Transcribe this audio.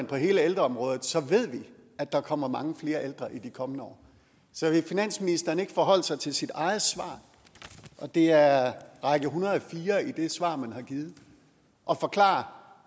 på hele ældreområdet ser vi at der kommer mange flere ældre i de kommende år så vil finansministeren ikke forholde sig til sit eget svar det er række en hundrede og fire i det svar man har givet og forklare